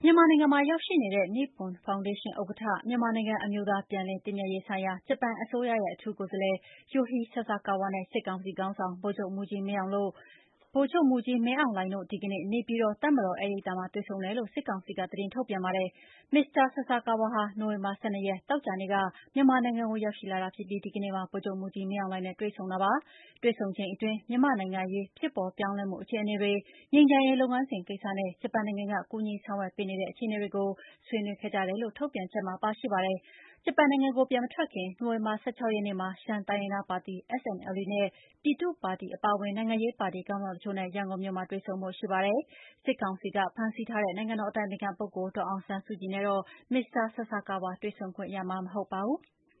ြန်မာနိုင်ငံမှာရောက်နေတဲ့ နိပွန်ဖောင်ဒေးရှင်းဥက္ကဋ္ဌ၊ မြန်မာနိုင်ငံ အမျိုးသားပြန်လည်သင့်မြတ်ရေးဆိုင်ရာ ဂျပန်အစိုးရရဲ့ အထူးကိုယ်စားလှယ် Yohei Sasakawa နဲ့ စစ်ကောင်စီခေါင်းဆောင် ဗိုလ်ချုပ်မှူးကြီးမင်းအောင်လှိုင်တို့ ဒီကနေ့ တွေ့ဆုံတယ်လို့ စစ်ကောင်စီက သတင်းထုတ်ပြန်ပါတယ်။ မစ္စတာ Sasakawa ဟာ နိုဝင်ဘာလ ၁၂ ရက်၊ သောကြာနေ့က မြန်မာနိုင်ငံကို ရောက်လာတာဖြစ်ပြီး ဒီကနေ့မှာ ဗိုလ်ချုပ်မှူးကြီးမင်းအောင်လှိုင်နဲ့ တွေ့ဆုံတာပါ။ တွေ့ဆုံချိန်အတွင်း မြန်မာ့နိုင်ငံရေး ဖြစ်ပေါ်ပြောင်းလဲမှု အခြေအနေတွေ၊ ငြိမ်းချမ်းရေး လုပ်ငန်းစဉ်ကိစ္စနဲ့ ဂျပန်နိုင်ငံက ကူညီဆောင်ရွက်ပေးနေတဲ့ အခြေအနေတွေကို ဆွေးနွေးခဲ့ကြတယ်လို့ ထုတ်ပြန်ချက်မှာ ပါရှိပါတယ်။ ဂျပန်နိုင်ငံကို ပြန်မထွက်ခင် နိုဝင်ဘာလ ၁၆ ရက်နေ့မှာ ရှမ်းတိုင်းရင်းသားပါတီ SNLD နဲ့ ပြည်သူ့ပါတီ အပါအဝင် နိုင်ငံရေးပါတီ ခေါင်းဆောင်တချို့နဲ့ ရန်ကုန်မြို့မှာ တွေ့ဆုံဖို့ရှိပါတယ်။ စစ်ကောင်စီက ဖမ်းဆီးထားတဲ့ နိုင်ငံတော်အတိုင်ပင်ခံပုဂ္ဂိုလ် ဒေါ်အောင်ဆန်းစုကြည်နဲ့တော့ မစ္စတာ Sasakawa တွေ့ဆုံခွင့်ရမှာ မဟုတ်ပါဘူး။